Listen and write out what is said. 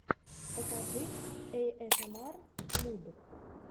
покажи эйэсэмар муд